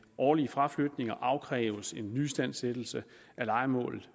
årlige fraflytninger afkræves en nyistandsættelse af lejemålet